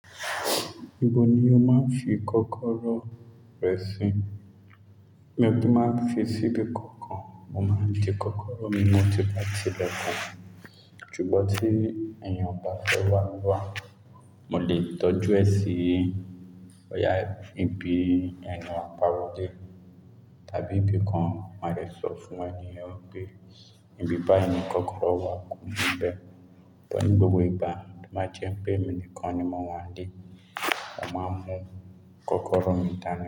Ibo ni o máa ń fi kọ́kọ́rọ́ rẹ si? Bí mo bá fi síbi kankan, mo máa ń di kọ́kọ́rọ́ mi mọ́ ti bá ti bẹ̀ kan. Ṣùgbọ́n tí èèyàn bá fẹ́ wá wá, mo lè tọ́jú ẹ sí ọjà ibi tí èèyàn yẹn wá pa wọlé, tàbí ibi kan mo lè sọ fún ènìyàn pé, ibi báyìí ni kọ́kọ́rọ́ wà, kun ìbẹ̀. Ṣùgbọ́n ní gbogbo ìgbà, má jẹ́ pé mi nìkan ni mo wà n íle, o máa mọ kọ́kọ́rọ́ mi dání.